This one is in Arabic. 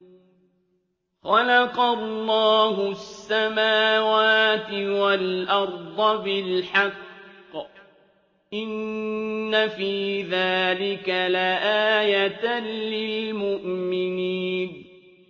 خَلَقَ اللَّهُ السَّمَاوَاتِ وَالْأَرْضَ بِالْحَقِّ ۚ إِنَّ فِي ذَٰلِكَ لَآيَةً لِّلْمُؤْمِنِينَ